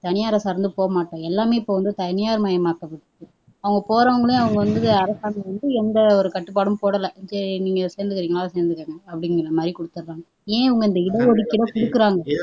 தனியாரை சார்ந்து போகமாட்டோம் எல்லாமே இப்ப வந்து தனியார் மயமாக்குது அவங்க போரவங்கலயும் அவங்க வந்து அரசாங்கம் வந்து எந்த ஒரு கட்டுப்பாடும் போடலை சரி நீங்க சேர்ந்துகிறீங்களா சேர்ந்துக்குங்க அப்படிங்கிறமாதிரி குடுத்துர்றாங்க ஏன் அவங்க இந்த இடஒதுக்கீடை குடுக்குறாங்க